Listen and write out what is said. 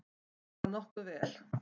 Bara nokkuð vel.